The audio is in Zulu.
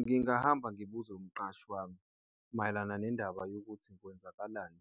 Ngingahamba ngibuze umqashi wami mayelana nendaba yokuthi kwenzakalani